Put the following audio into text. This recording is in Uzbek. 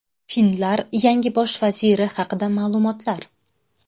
Finlar yangi bosh vaziri haqida ma’lumotlar .